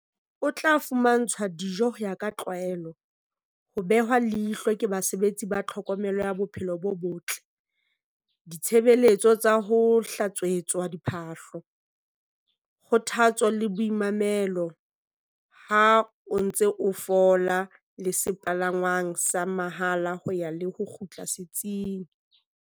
O tla fumantshwa dijo ho ya ka tlwaelo, ho behwa leihlo ke basebetsi ba tlhokomelo ya bophelo bo botle, ditshebeletso tsa ho hlatswetswa diphahlo, kgothatso le boimamelo ha o ntse o fola le sepalangwang sa mahala ho ya le ho kgutla setsing.